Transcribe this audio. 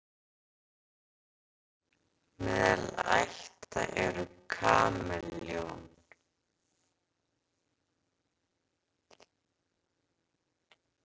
meðal ætta eru kameljón